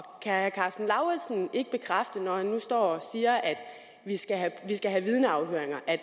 herre karsten lauritzen ikke bekræfte når han nu står og siger at vi skal have vidneafhøringer at